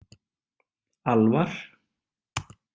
Alvar